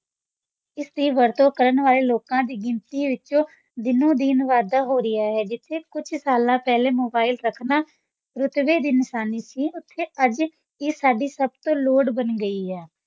ਇਸ ਦੀ ਵਰਤੋਂ ਕਰਨ ਵਾਲੇ ਲੋਕਾਂ ਦੀ ਗਿਣਤੀ ਵਿੱਚ ਦਿਨੋ-ਦਿਨ ਵਾਧਾ ਹੋ ਰਿਹਾ ਹੈ, ਜਿੱਥੇ ਕੁਝ ਸਾਲ ਪਹਿਲਾਂ mobile ਰੱਖਣਾ ਰੁਤਬੇ ਦੀ ਨਿਸ਼ਾਨੀ ਸੀ, ਉੱਥੇ ਅੱਜ ਇਹ ਸਾਡੀ ਸਭ ਦੀ ਲੋੜ ਬਣ ਗਿਆ ਹੈ।